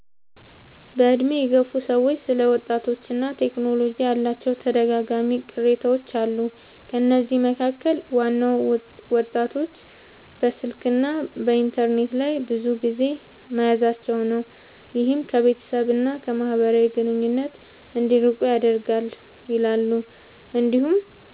በዕድሜ የገፉ ሰዎች ስለ ወጣቶችና ቴክኖሎጂ ያላቸው ተደጋጋሚ ቅሬታዎች አሉ። ከነዚህ መካከል ዋናው ወጣቶች በስልክና በኢንተርኔት ላይ ብዙ ጊዜ መያዛቸው ነው፤ ይህም ከቤተሰብ እና ከማህበራዊ ግንኙነት እንዲርቁ ያደርጋል ይላሉ። እንዲሁም